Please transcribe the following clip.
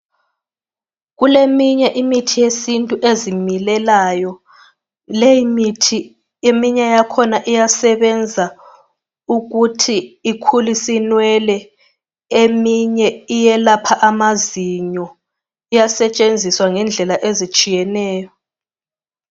Kuleminye imithi yesintu ezimilelayo. Leyi mithi eminye yakhona iyasebenza ukuthi ikhulise inwele. Eminye iyelapha amazinyo, iyasetshenziswa ngendlela ezitsiyeneyo.